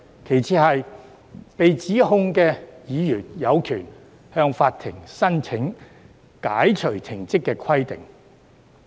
其次，被起訴的議員亦有權向法庭申請解除停職的規定。